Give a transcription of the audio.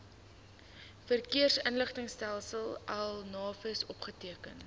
verkeersinligtingstelsel navis opgeteken